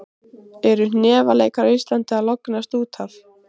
Eru hnefaleikar á Íslandi að lognast út af?